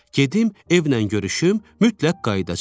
Gedim evlə görüşüm, mütləq qayıdacam.